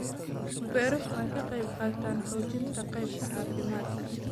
Beeruhu waxay ka qayb qaataan xoojinta qaybta caafimaadka.